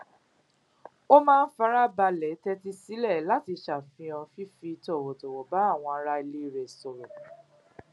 ó máa ń farabalè tétí sílè láti ṣàfihàn fífi tọwọtọwọ bá àwọn ará ilé rẹ sọrọ